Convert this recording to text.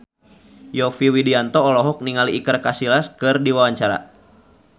Yovie Widianto olohok ningali Iker Casillas keur diwawancara